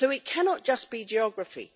So it cannot just be geography.